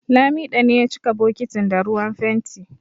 Lamido ne ya cika bokitin da ruwan fenti